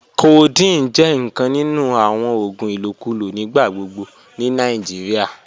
Codeine jẹ nkan ninu awon oògùn ilokulo nigbagbogbo ni Nigeria.